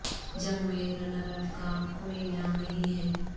جنگ میں runner up کا کوئی انعام نہیں ہے